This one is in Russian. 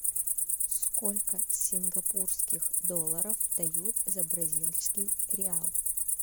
сколько сингапурских долларов дают за бразильский реал